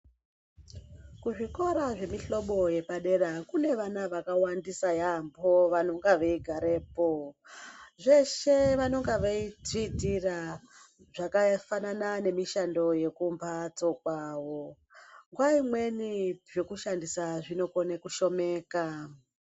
Kuzvikora zvemihlobo yepadera kune vana vakawandisa yaambo vanonga veigarepo. Zveshe vanonga veidziitira, zvakafanana nemishando yekumbatso kwavo. Nguwa imweni zvekushandisa zvinokone kushomeka.